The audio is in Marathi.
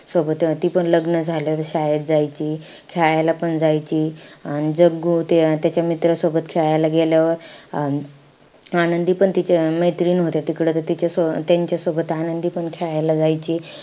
सोबत तीपण लग्न झाल्यावर शाळेत जायची. खेळायला पण जायची. अन जग्गू ते त्याच्या मित्रासोबत खेळायला गेल्यावर, अं आनंदी पण तिच्या मैत्रीणमध्ये तिकडं त तिच्या~ त्यांच्यासोबत आनंदीपण खेळायला जायची.